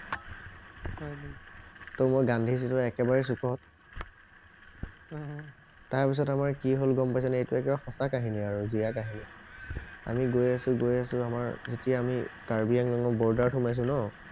তহ মই গান্ধী চিটৰ একেবাৰে চুকত অহ তাৰ পিছত আমাৰ কি হল গম পাইছানে এইটো একদম সঁচা কাহিনী আৰু জিয়া কাহিনী আমি গৈছো আছো গৈছো আছো আমাৰ যেতিয়া আমি কৰ্বিআংলৰ ৰ্দাৰ সমাইছো ন